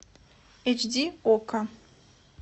эйч ди окко